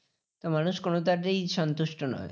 তো মানুষ কোনটা তেই সন্তুষ্ট নয়।